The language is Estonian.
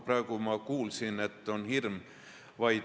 Praegu kuulsin, et selline hirm on.